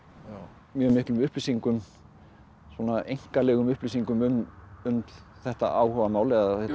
mjög miklum upplýsingum svona upplýsingum um um þetta áhugamál eða